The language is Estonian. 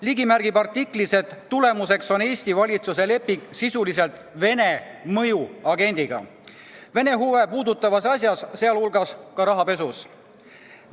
Ligi märgib artiklis, et tegemist on Eesti valitsuse lepinguga, mis on sõlmitud sisuliselt Vene mõjuagendiga Vene huve puudutavas asjas, sealhulgas rahapesus.